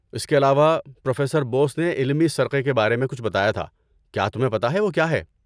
اس کے علاوہ، پروفیسر بوس نے علمی سرقے کے بارے میں کچھ بتایا تھا، کیا تمہیں پتہ ہے وہ کیا ہے؟